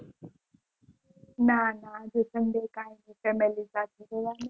ના ના આજ તો sunday કાલ તો family જવાનું